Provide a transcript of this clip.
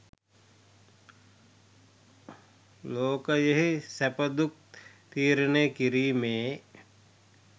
ලෝකයෙහි සැප දුක් තීරණය කිරීමේ